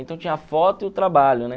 Então tinha a foto e o trabalho, né?